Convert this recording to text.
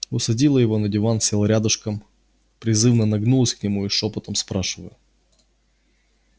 усадила его на диван села рядышком призывно нагнулась к нему и шёпотом спрашиваю